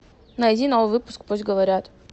найди новый выпуск пусть говорят